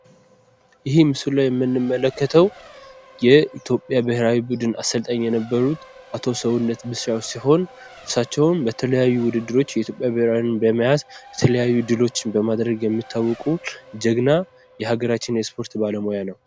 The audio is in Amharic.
ይሄ ምስሉ ላይ የምንመለከተው የኢትዮጵያ ብሔራዊ ቡድን አሰልጣኝ የነበሩት አቶ ሰውነት ቢሻዉ ሲሆን እሳቸውም በተለያዩ ውድድሮች ኢትዮጵያን በመያዝ የተለያዩ ውድድሮችን በመያዝ የሚታወቁ ጀግና የሀገራችን የስፖርት ባለሙያ ነው።